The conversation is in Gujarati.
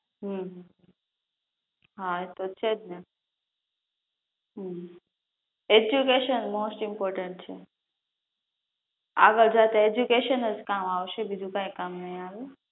હમ હા એ તો છેજ ને હમ એજયુકેશન મોસ્ટ ઈમ્પોર્ટન્ટ છે આગળ જતા એજ્યુકેશનજ કામ આવશે બીજું કઈ કામ નહીં આવે